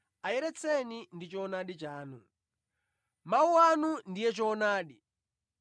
Ayeretseni ndi choonadi chanu. Mawu anu ndiye choonadi.